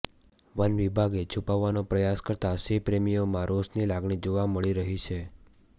વનવિભાગે છૂપાવવાનો પ્રયાસ કરતા સિંહપ્રેમીઓમાં રોષની લાગણી જોવા મળી રહી છે